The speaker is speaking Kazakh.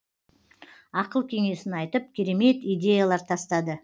ақыл кеңесін айтып керемет идеялар тастады